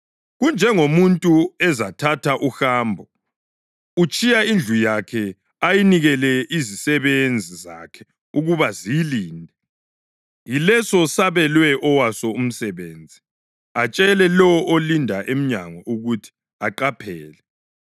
Kunjengomuntu ezathatha uhambo: utshiya indlu yakhe ayinikele izisebenzi zakhe ukuba ziyilinde, yileso sabelwe owaso umsebenzi, atshele lowo olinda emnyango ukuthi aqaphele.